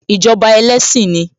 Ìjọba ẹlẹ́sìn ni